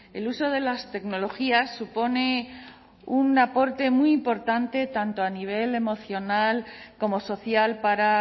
el uso de las tecnologías supone un aporte muy importante tanto a nivel emocional como social para